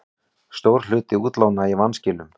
Stór hluti útlána í vanskilum